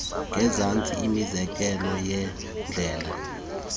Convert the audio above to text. ngezantsi imizekelo yeendlela